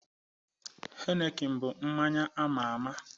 Heineken bu mmanya ama ama